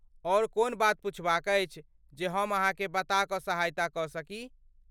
ओर कोनो बात पुछबाक अछि जे हम अहाँके बता क सहायता क सकी?